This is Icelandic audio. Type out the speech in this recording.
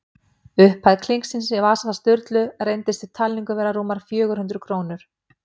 Upphæð klinksins í vasa Sturlu reyndist við talningu vera rúmar fjögur hundruð krónur.